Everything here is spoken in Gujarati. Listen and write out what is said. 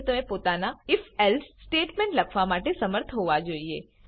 મા હવે તમે પોતાના if એલ્સે સ્ટેટમેન્ટ લખવા માટે શમર્થ હોવા જોઈએ